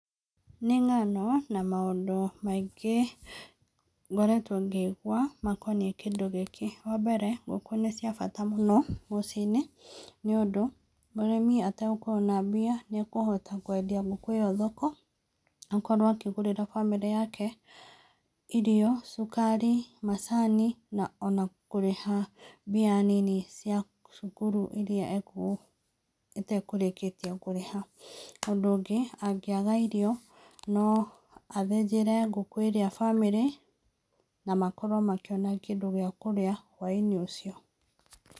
Nĩ ng'ano na maũndũ maingĩ marĩa tũngĩigua makoniĩ Kĩndũ gĩkĩ, wa mbere, ngũkũ nĩ cia bata mũno mũciĩ-inĩ nĩ ũndũ, mũrĩmi atagũkorwo na mbia nĩ ekũhota kwendia ngũkũ ĩyo thoko, akorwo akĩgũrĩra bamĩrĩ yake irio, cukari, macani na ona kũrĩha mbia nini cia cukuru iria atekũrĩkĩte kũrĩha. Ũndũ ũngĩ, angĩaga irio, no athĩnjĩre ngũkũ ĩrĩa bamĩrĩ na makorwo makĩona kĩndũ gĩa kũrĩa hwa-inĩ ũcio.